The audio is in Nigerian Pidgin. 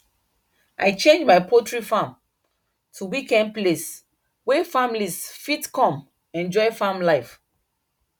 i change my poultry farm to weekend place wey families fit come enjoy farm life